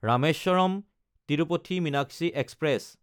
Rameswaram-Tirupati Meenakshi express